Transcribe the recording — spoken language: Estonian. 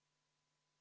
Palun eelnõu toetada!